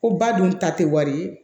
Ko ba dun ta tɛ wari ye